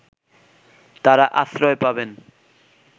তারা আশ্রয় পাবেন